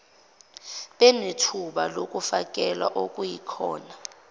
benethuba lokufakela okuyikhona